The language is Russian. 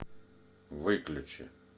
выключи